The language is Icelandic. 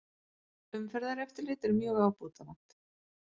Umferðareftirlit er mjög ábótavant